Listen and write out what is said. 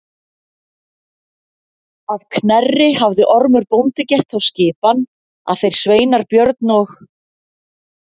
Að Knerri hafði Ormur bóndi gert þá skipan að þeir sveinar Björn og